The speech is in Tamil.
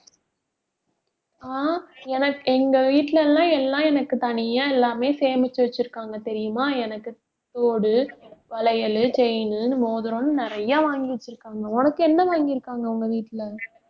ஆஹ் எனக்~ எங்க வீட்டுல எல்லாம் எல்லாம் எனக்கு தனியா எல்லாமே சேமிச்சு வச்சிருக்காங்க தெரியுமா எனக்கு தோடு, வளையலு chain உ, மோதிரம்னு நிறைய வாங்கி வச்சிருக்காங்க. உனக்கு என்ன வாங்கியிருக்காங்க உங்க வீட்டுல